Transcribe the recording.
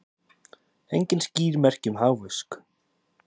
Engin skýr merki um hagvöxt